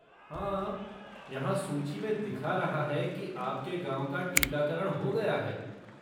हाँ, यहाँ सूची में दिखा रहा है कि आपके गाँव का टीकाकरण हो गया है।